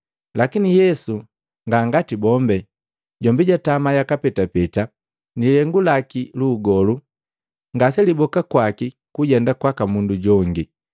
Lakini Yesu nga ngati bombi, jombi jutama yaka petapeta; ni lihengu laki lu ugolu ngase liboka kwaki kujenda kwaka mundu jongi.